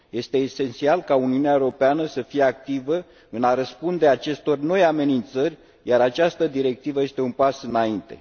Este esențial ca Uniunea Europeană să fie activă în a răspunde acestor noi amenințări, iar această directivă este un pas înainte.